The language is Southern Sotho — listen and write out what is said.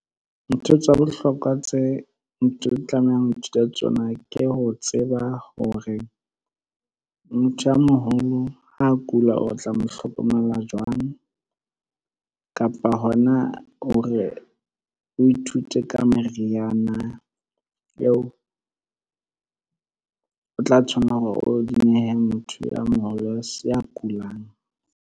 Ntho tsa bohlokwa tse tlamehang ho ithuta tsona ke ho tseba hore motho a moholo ha kulao tla mo hlokomela jwang? Kapa hona o re, o ithute ka meriana eo o tla tshwanela hore o di nehe motho ya moholo a kulang.